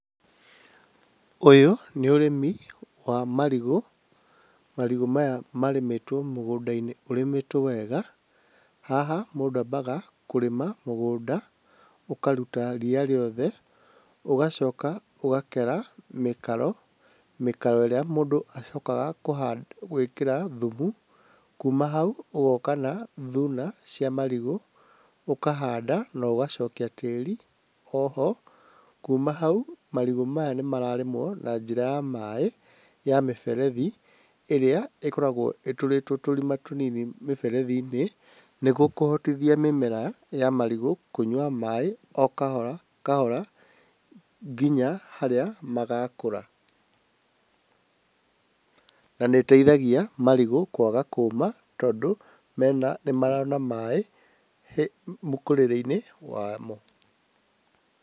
Ũyũ nĩ ũrĩmi wa marigũ. Marigũ maya marĩmĩtwo mũgũnda-inĩ ũrĩmĩtwo wega. Haha mũndũ ambaga kũrĩma mũgũnda, ũkaruta ria rĩothe, ũgacoka ũgakera mĩkaro, mĩkaro ĩrĩa mũndũ acokaga gwĩkĩra thumu. Kuuma hau ũgoka na thuna cia marigũ ũkahanda na ũgacokia tĩĩri o ho. Kuuma hau marigũ maya nĩ mararĩmwo na njĩra ya maaĩ ya mĩberethi ĩrĩa ĩkoragwo ĩtũritwo tũrima tũnini mĩberethi-inĩ, nĩguo kũhotithia mĩmera ya marigũ kũnyua maaĩ o kahora kahora nginya harĩa magakũra. Na nĩ ĩteithagia marigũ kwaga kũũma tondũ nĩ marona maaĩ mũkũrĩre-inĩ wamo.